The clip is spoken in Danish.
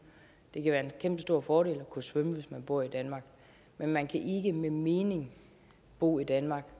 det kan være en kæmpestor fordel at kunne svømme hvis man bor i danmark men man kan ikke med mening bo i danmark